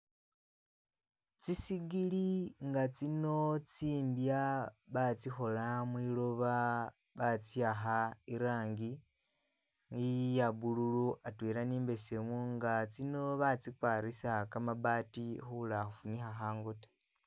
Tsisigili nga'tsino tsimbya batsikhola mwiloba batsiyakha irangi iya'mbululu atwela ni'mbesemu nga tsino batsikwarisa kamabaati khuloba khufunikha khangu taawe